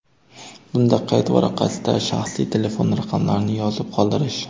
Bunda qayd varaqasida shaxsiy telefon raqamlarini yozib qoldirish.